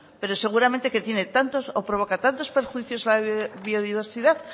pero seguramente tiene o provoca tantos perjuicios a la biodiversidad